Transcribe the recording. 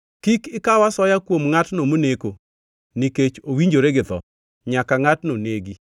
“ ‘Kik ikaw asoya kuom ngʼatno moneko, nikech owinjore gi tho. Nyaka ngʼatno negi.